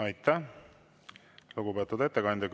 Aitäh, lugupeetud ettekandja!